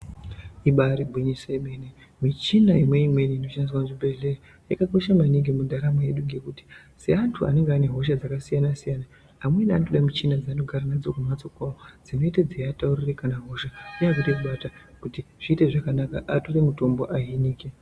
Ibairi gwinyiso yemene, michina imweni inoshandiswa muchibhedhera yakakosha maningi mundaramo yedu ngekuti, seantu anenge anehosha dzakasiyana-siyana amweni anoda michina dzeanogara nadzo kumhatso kwawo dzinenge dzeiataurira kana hosha dzaakuda kubata kuti zviite zvakanaka, atore mitombo ahinike.